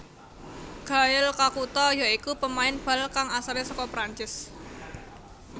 Gael Kakuta ya iku pemain bal kang asalé saka Prancis